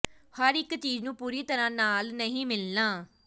ਹਰ ਇਕ ਚੀਜ਼ ਨੂੰ ਪੂਰੀ ਤਰ੍ਹਾਂ ਨਾਲ ਨਹੀਂ ਮਿਲਣਾ